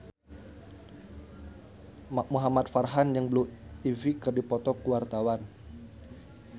Muhamad Farhan jeung Blue Ivy keur dipoto ku wartawan